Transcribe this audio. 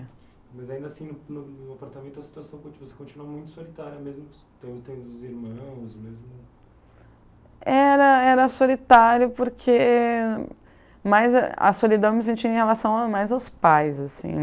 Mas, ainda assim, no no no apartamento a situação conti você continua muito solitária, mesmo tendo os irmãos, mesmo... Era era solitário porque... Mais a solidão eu me sentia em relação mais aos pais, assim.